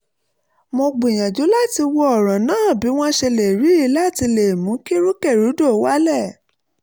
mo gbìyànjú láti wo ọ̀ràn náà bí wọ́n ṣe ríi láti le mú kí rúkèrúdò wálẹ̀